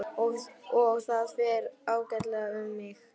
Og það fer ágætlega um mig.